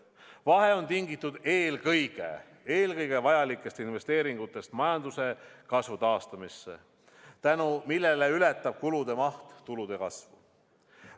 Vahe on tingitud eelkõige vajalikest investeeringutest majanduse kasvu taastamisse, tänu millele ületab kulude maht tulude kasvu.